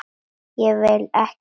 Ég vil ekki sjá þær.